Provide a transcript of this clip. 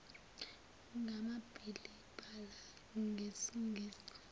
ngamabili bhala ngesingisi